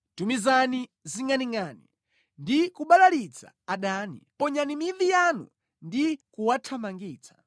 Tumizani zingʼaningʼani ndi kubalalitsa adani; ponyani mivi yanu ndi kuwathamangitsa.